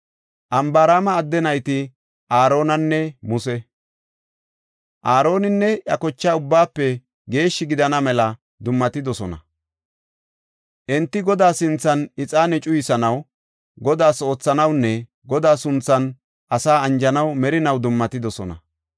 Anbaraama adde nayti Aaronanne Muse. Aaroninne iya kochay ubbaafe geeshshi gidana mela dummatidosona. Enti Godaa sinthan ixaane cuyisanaw, Godaas oothanawunne Godaa sunthan asaa anjanaw merinaw dummatidosona.